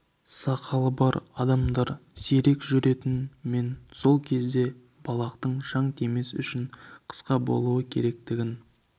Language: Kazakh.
сақалы бар адамдар сирек жүретін мен сол кезде балақтың шаң тимес үшін қысқа болу керектігін